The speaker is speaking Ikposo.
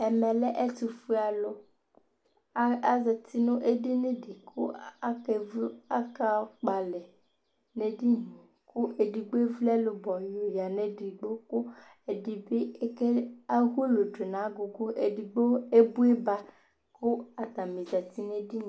ɛmɛ lɛ ɛtʋƒʋɛ alʋ, azati nʋɛdini di kʋakɛ vʋ aka kʋɔ alɛ nʋ ɛdiniɛ kʋ ɛdigbɔ ɛvʋ ɛlʋbɔ yɔ yanʋ ɛdigbɔ kʋ ɛdibi ahʋlʋ twɛnʋ nʋ agʋgʋ, ɛdigbɔ ɛvi ba kʋ atani zati nʋ ɛdiniɛ